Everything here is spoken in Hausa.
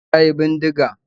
E, ya yi bindiga